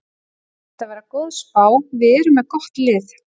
Mér finnst þetta vera góð spá, við erum með gott lið.